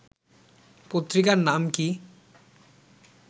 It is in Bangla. পত্রিকার নাম কি